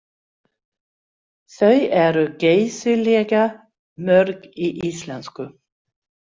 Þau eru geysilega mörg í íslensku.